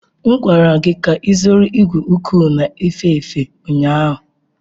M gwara gị ka ịzụrụ igwe uko na-efe efe ụnyahụ!